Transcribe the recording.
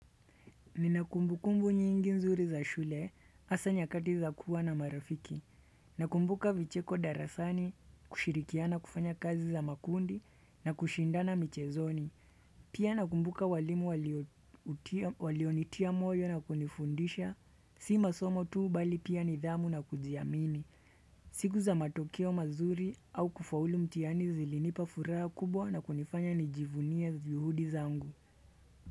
Nina kumbukumbu nyingi nzuri za shule hasa nyakati za kuwa na marafiki. Nakumbuka vicheko darasani kushirikiana kufanya kazi za makundi na kushindana michezoni. Pia nakumbuka walimu walionitia moyo na kunifundisha. Si masomo tuu bali pia nidhamu na kujiamini. Siku za matokeo mazuri au kufaulu mtiani zilinipa furaha kubwa na kunifanya nijivunie juhudi zangu.